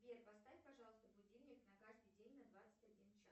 сбер поставь пожалуйста будильник на каждый день на двадцать один час